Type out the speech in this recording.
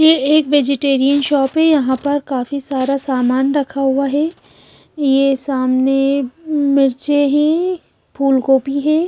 यह एक vegetarian shop है यहां पर काफी सारा सामान रखा हुआ है यह सामने मिर्ची है फूलगोभी है।